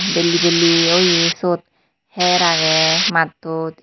bellay bellay oye swot heer aagay mattod.